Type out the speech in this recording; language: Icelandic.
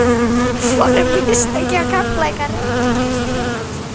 Voru mistök hjá Keflavík að reka Kristján Guðmundsson?